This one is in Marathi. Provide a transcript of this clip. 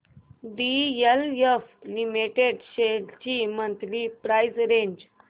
डीएलएफ लिमिटेड शेअर्स ची मंथली प्राइस रेंज